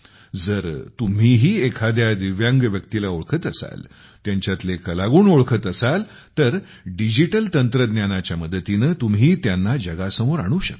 जर तुम्हीही एखाद्या दिव्यांग व्यक्तीला ओळखत असाल त्यांच्यातले कलागुण ओळखत असाल तर डिजिटल तंत्रज्ञानाच्या मदतीने तुम्ही त्यांना जगासमोर आणू शकता